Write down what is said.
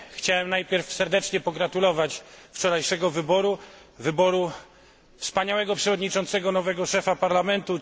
Chciałem najpierw serdecznie pogratulować wczorajszego wyboru, wyboru wspaniałego przewodniczącego nowego szefa Parlamentu.